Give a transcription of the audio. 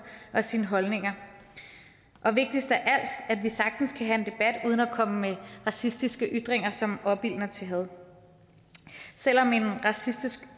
og sine holdninger og vigtigst af alt at vi sagtens kan have en debat uden at komme med racistiske ytringer som opildner til had selv om en racistisk